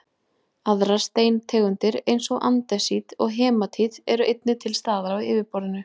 aðrar steintegundir eins og andesít og hematít eru einnig til staðar á yfirborðinu